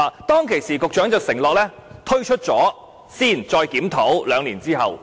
當時局長承諾先推出，兩年後再檢討。